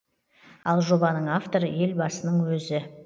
ал жобаның авторы елбасының өзі